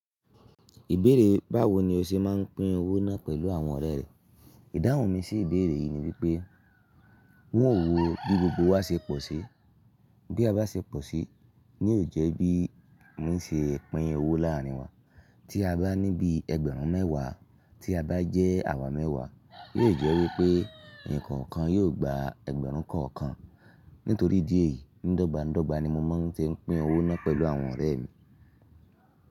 Ìbéèrè báwo ni o ṣe máa ń pín owó náà pẹ̀lú àwọn ọ̀rẹ́ rẹ? Ìdáhùn mi sí ìbéèrè yìí ni wípé wọn ò wò ó bí gbogbo wa ṣe pọ̀ sí. Bí a bá ṣe pọ̀ sí, ní ò jẹ́ bí mo ń ṣe pín owó láàrin wa. Tí a bá ní bí ẹgbẹ̀rún mẹ́wàá, tí a bá jẹ́ àwa mẹ́wàá, yóò jẹ́ wípé eniko kan yóò gba ẹgbẹ̀rún kan kan. Nítorí ídieyi, ní dọ́gba ni mo máa ń ṣe pín owó náà pẹ̀lú àwọn ọ̀rẹ́ mi.